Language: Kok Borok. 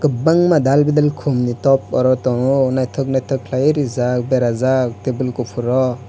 kwbangma dalbidal khumni top oro tongo naithok naithok khwlaiwui rijak berajak table kuphur o.